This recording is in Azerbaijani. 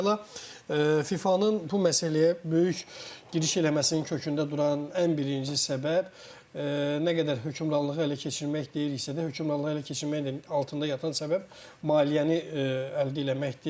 Əvvəla, FIFA-nın bu məsələyə böyük giriş eləməsinin kökündə duran ən birinci səbəb, nə qədər hökmranlığı ələ keçirmək deyiriksə də, hökmranlığı ələ keçirməyin də altında yatan səbəb maliyyəni əldə eləməkdir.